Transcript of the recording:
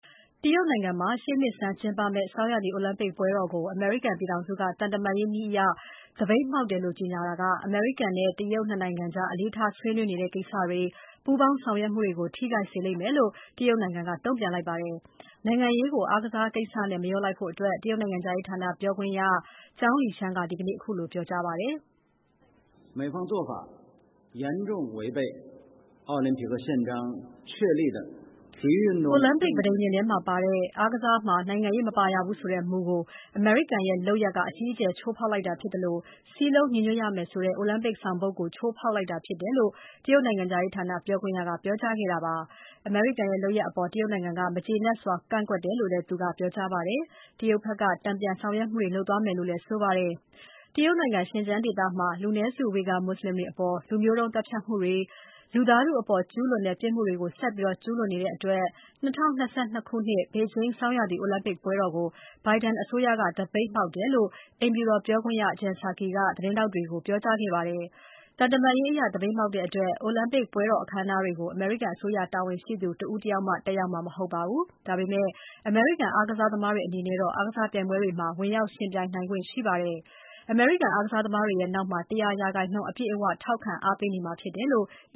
တရုတ်နိုင်ငံမှာ ရှေ့နှစ်ဆန်းကျင်းပမယ့် ဆောင်းရာသီ အိုလံပစ်ပွဲတော်ကို အမေရိကန်ပြည်ထောင်စုက သံတမန်ရေးအရ သပိတ်မှောက်တယ်လို့ ကြေညာခဲ့တာက တရုတ်နဲ့ အမေရိကန် ၂ နိုင်ငံကြား အလေးထား ဆွေးနွေးနေတဲ့ကိစ္စတွေ၊ ပူးပေါင်းဆောင်ရွက်မှုတွေကို ထိခိုက်စေမယ်လို့ တရုတ်နိုင်ငံက တုံ့ပြန်လိုက်ပါတယ်။ နိုင်ငံရေးကို အားကစားကိစ္စနဲ့ မရောလိုက်ဖို့ တရုတ်နိုင်ငံခြားရေးဌာန ပြောခွင့်ရ Zhao Lijian က ပြောကြားခဲ့ပါတယ်။ “အိုလံပစ်ပဋိညာဉ်ထဲမှာ ပါတဲ့ အားကစားမှာ နိုင်ငံရေး မပါရဘူးဆိုတဲ့ မူကို အမေရိကန်ရဲ့ လုပ်ရပ်က အကြီးအကျယ် ချိုးဖောက်လိုက်တာ ဖြစ်သလို စည်းလုံးညီညွတ်ရမယ်ဆိုတဲ့ အိုလံပစ်ဆောင်ပုဒ်ကို ချိုးဖောက်လိုက်တာ ဖြစ်ပါတယ်။” လို့ တရုတ်နိုင်ငံခြားရေးဌာန ပြောခွင့်ရက ပြောကြားခဲ့တာပါ။ အမေရိကန်ရဲ့ လုပ်ရပ်အပေါ် တရုတ်နိုင်ငံက မကျေနပ်စွာ ကန့်ကွက်တယ်လို့လည်း သူက ပြောကြားခဲ့ပါတယ်။ တရုတ်ဘက်က တန်ပြန်ဆောင်ရွက်မှုတွေ လုပ်သွားမယ်လို့လည်း ဆိုပါတယ်။ တရုတ်နိုင်ငံ ရှင်ကျန်းဒေသမှာ လူမျိုးတုံးသတ်ဖြတ်မှုတွေ၊ လူသားထုအပေါ် ကျူးလွန်တဲ့ ပြစ်မှုတွေကို ဆက်ပြီး ကျူးလွန်နေတဲ့အတွက် ၂၀၂၂ ဘေဂျင်း ဆောင်းရာသီ အိုလံပစ်ပွဲတော်ကို Biden အစိုးရက သပိတ်မှောက်တယ်လို့ အိမ်ဖြူတော်ပြောခွင့်ရ Jen Psaki က သတင်းထောက်တွေကို ပြောကြားခဲ့ပါတယ်။ သံတမန်ရေးအရ သပိတ်မှောက်တဲ့အတွက် အိုလံပစ်ပွဲတော် အခမ်းအနားတွေကို အမေရိကန်အစိုးရ တာဝန်ရှိသူ တဦးတယောက်မှ တက်ရောက်မှာ မဟုတ်ပါဘူး။ ဒါပေမယ့် အမေရိကန် အားကစားသမားတွေ အနေနဲ့တော့ အားကစားပြိုင်ပွဲတွေမှာ ဝင်ရောက်ယှဉ်ပြိုင်နိုင်ခွင့် ရှိပါတယ်။ အမေရိကန် အားကစားသမားတွေရဲ့ နောက်မှာ ၁၀၀ ရာခိုင်နှုန်း အပြည့်အဝ ထောက်ခံအားပေးနေမှာ ဖြစ်တယ်လို့ အ